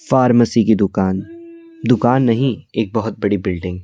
pharmacy की दुकान दुकान नहीं एक बहुत बड़ी बिल्डिंग --